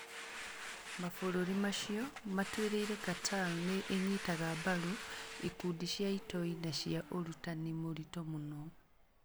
Mabũrũri macio matuĩrĩirĩ Qatar nĩ ĩnyitaga mbaru ikundi cia itoi na cia ũrutani mũritũ mũno.